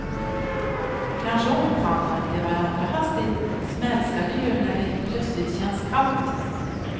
Kanske omfamnade de varandra hastigt som älskande gör när det plötsligt känns kallt.